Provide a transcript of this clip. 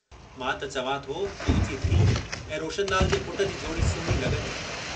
मां त चवां थो तुहिंजी धीअ ऐं रोशनलाल जे पुट जी जोड़ी सुहिणी लॻंदी।